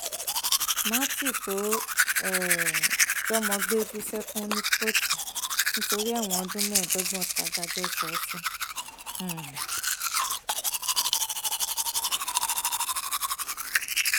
matthew tó um jọmọ gbé bú sẹkùn ní kóòtù nítorí ẹwọn ọdún mẹẹẹdọgbọn tàdájọ sọ ọ sí um